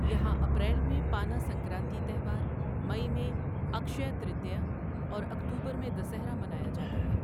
یہاں اپریل میں پانا سنکرانتی تہوار، مئی میں اکشیا ترتیا اور اکتوبر میں دسہرا منایا جاتا ہے۔